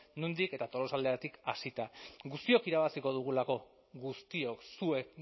nondik eta tolosaldeatik hasita guztiok irabaziko dugulako guztiok zuek